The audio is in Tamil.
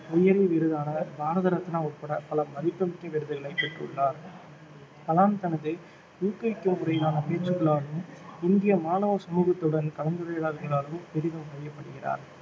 உயரிய விருதான பாரத ரத்னா உட்பட பல மதிப்புமிக்க விருதுகளை பெற்றுள்ளார். கலாம் தனது ஊக்குவிக்கும் முறையிலான பேச்சுக்களாலும் இந்திய மாணவ சமூகத்துடன் கலந்துரையாடல்களாலும் பெரிதும் அறியப்படுகிறார்